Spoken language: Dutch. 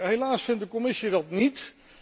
Helaas vindt de Commissie dat niet.